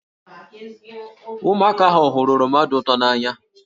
Ụmụaka ahụ hụrụ oroma dị ụtọ n'anya